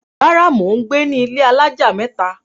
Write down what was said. Rárá, mò ń gbé ní ilé alájà mẹ́ta.